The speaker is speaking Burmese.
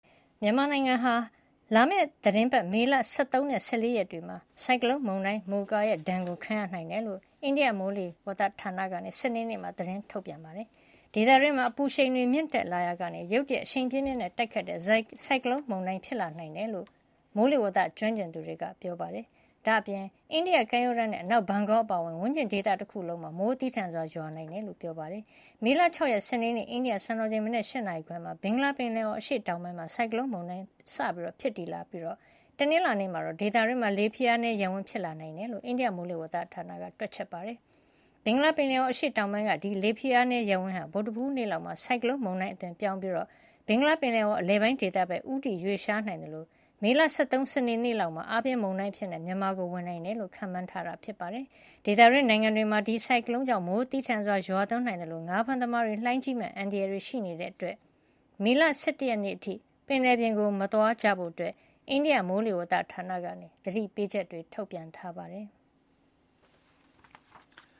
မြန်မာနိုင်ငံမှာ လာမယ့်သီတင်းပတ် မေလ ၁၃ နဲ့ ၁၄ ရက်နေ့တွေမှာ ဆိုင်ကလုံးမုန်တိုင်း မိုကာဒဏ်ကိုခံရနိုင်တယ်လို့ အိန္ဒိယမိုးလေဝသဌာနက စနေနေ့မှာ သတင်းထုတ်ပြန်ပါတယ်။ ဒေသတွင်းမှာ အပူရှိန်မြင့်တက်လာတာကနေ ရုတ်တရက်အရှိန်ပြင်းပြင်းနဲ့ ရိုက်ခတ်တဲ့ ဆိုင်ကလုံးမုန်တိုင်း ဖြစ်လာစေနိုင်တယ်လို့ မိုးလေဝသကျွမ်းကျင်သူတွေက ပြောပါတယ်။ ဒါ့ပြင် အိန္ဒိယကမ်းရိုးတန်းနဲ့အနောက်ဘန်ဂေါအပါအဝင် ဝန်းကျင်ဒေသတခုလုံးမှာ မိုးသည်းထန်စွာ ရွာသွန်းနိုင်ကြောင်းလည်း ပြောပါတယ်။ မေလ ၆ ရက်၊ စနေနေ့ အိန္ဒိယစံတော်ချိန် မနက် ၈ နာရီခွဲမှာ ဘင်္ဂလားပင်လယ်အော် အရှေ့တောင်ပိုင်းကနေ ဆိုင်ကလုံးမုန်တိုင်း စတင်ဖြစ်တည်လာပြီး တနင်္လာနေ့မှာတော့ ဒေသတွင်းမှာ လေဖိအားနည်းရပ်ဝန်း ဖြစ်လာနိုင်တယ်လို့ အိန္ဒိယမိုးလေဝဿဌာနက တွက်ချက်ထားပါတယ်။ ဘင်္ဂလားပင်လယ်အော်အရှေ့တောင်ပိုင်းက ဒီလေဖိအားနည်းရပ်ဝန်းဟာ ဗုဒ္ဓဟူးနေ့လောက်မှာ ဆိုင်ကလုံးမုန်တိုင်းအသွင်ပြောင်းသွားပြီး ဘင်္ဂလားပင်လယ်အော် အလယ်ပိုင်းဒေသဘက် ဦးတည်ရွေ့လျားနိုင်သလို မေလ ၁၃ စနေနေ့လောက်မှာတော့ အားပြင်းမုန်တိုင်းအဖြစ်နဲ့ မြန်မာကို ဝင်နိုင်တယ်လို့ ခန့်မှန်းထားတာ ဖြစ်ပါတယ်။ ဒေသတွင်းနိုင်ငံတွေမှာလည်း ဒီဆိုင်ကလုံးမုန်တိုင်းကြောင့် မိုးပြင်းထန်စွာရွာသွန်းနိုင်သလို့ ငါးဖမ်းသမားတွေအတွက် လှိုင်းကြီးမယ့်အန္တရာယ်တွေရှိနေတာကြောင့် မေလ ၁၁ နေ့အထိ ပင်လယ်ပြင်ကိုမသွားကြဖို့ အိန္ဒိယမိုးလေဝသဌာနက သတိပေးချက်တွေ ထုတ်ပြန်ထားပါတယ်။